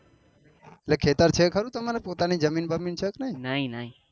એટલે ખેતર છે તમારે ખરું પોતાને જમીન બમીન છે કે નહિ